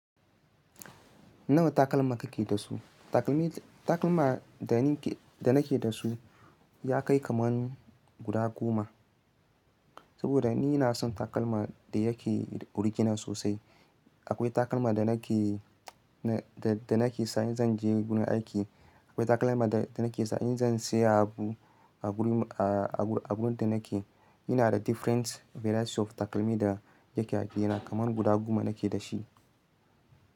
Nawa takalma kake da su? Takalmi, takalma da ni ke, da nake da su ya kai kamar guda goma. Saboda ni na son takalma da yake originar sosai. Akwai takalma da nake, da nake sa in zan je gun aiki. Akwai takalma da nake sa in zan saya abu a wurin, a wurin da nake. Ina da different variety of takalmi da yake a gena kamar guda goma nake da shi.